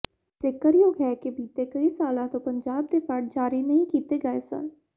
ਜ਼ਿਕਰਯੋਗ ਹੈ ਕਿ ਬੀਤੇ ਕਈ ਸਾਲਾਂ ਤੋਂ ਪੰਜਾਬ ਦੇ ਫੰਡ ਜਾਰੀ ਨਹੀਂ ਕੀਤੇ ਗਏ ਸਨ